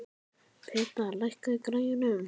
Peta, lækkaðu í græjunum.